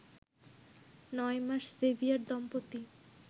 নয় মাস সেভিয়ার দম্পতি